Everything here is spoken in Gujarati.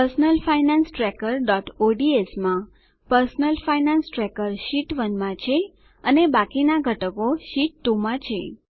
personal finance trackerઓડ્સ માં પર્સનલ ફાઇનાન્સ ટ્રેકર શીટ 1 માં છે અને બાકીના ઘટકો શીટ 2 માં છે